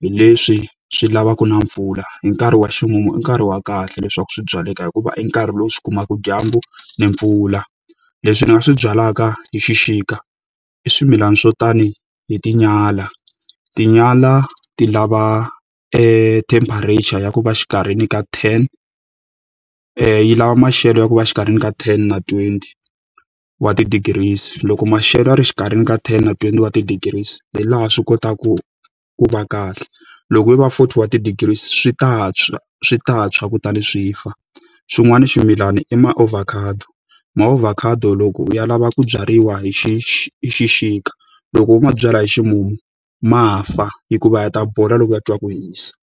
hi leswi swi lavaka na mpfula. Hi nkarhi wa ximumu i nkarhi wa kahle leswaku swi byaleka hikuva i nkarhi lowu swi kumaka dyambu na mpfula. Leswi ni nga swi byalaka hi xixika i swimilana swo tanihi tinyala. Tinyala ti lava temperature ya ku va exikarhini ka ten yi lava maxelo ya ku va exikarhini ka ten na twenty wa ti-degrees. Loko maxelo ya ri exikarhini ka ten twenty wa ti-degrees hi laha swi kotaka ku va kahle, loko yi va forty wa ti-degrees swi ta tshwa, swi ta tshwa kutani swi fa. Xin'wana ximilana i maovhakhado. Maovhakhado loko u ya lava ku byariwa hi hi xixika. Loko wo mabyalwa hi ximumu, ma fa hikuva ya ta bola loko ya twa ku hisa.